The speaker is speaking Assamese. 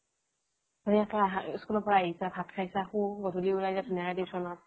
ধুনীয়াকৈ school ৰ পৰা আহিছা ভাত খাইছা শু গধুলী ওলাই যা ধুনীয়াকে tutionত